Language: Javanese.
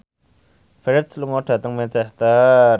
Ferdge lunga dhateng Manchester